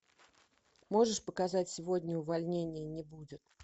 можешь показать сегодня увольнения не будет